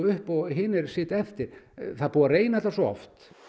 upp og hinir sitja eftir það er búið að reyna þetta svo oft